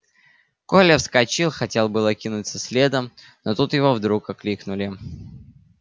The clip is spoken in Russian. коля вскочил хотел было кинуться следом но тут его вдруг окликнули